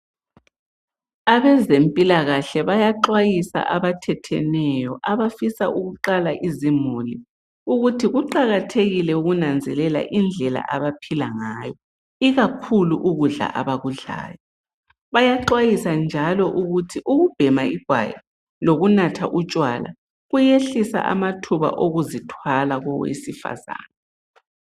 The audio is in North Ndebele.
Abezempilakahle bayaxwayisa abathatheneyo abafisa ukuqala izimuli .Ukuthi kuqakathekile ukunanzelela indlela abaphila ngayo .Ikakhulu ukudla abakudlayo .Bayaxwayisa njalo ukuthi ukubhema igwayi lokunatha utshwala kuyehlisa amathuba okuzithwala kowesifazana.